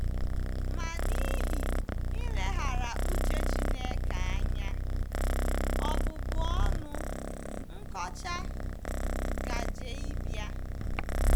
Ma n’ihi ileghara uche Chineke anya, ọbụbụ ọnụ, nkọcha, gaje ịbịa.